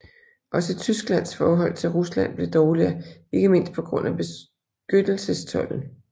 Også Tysklands forhold til Rusland blev dårligere ikke mindst på grund af beskyttelsestolden